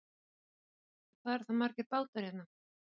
Kristján Már: Og hvað eru þá margir bátar hérna?